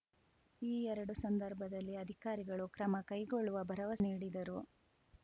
ಆ ಎರಡು ಸಂದರ್ಭದಲ್ಲಿ ಅಧಿಕಾರಿಗಳು ಕ್ರಮ ಕೈಗೊಳ್ಳುವ ಭರವಸೆ ನೀಡಿದರು